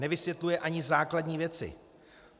Nevysvětluje ani základní věci.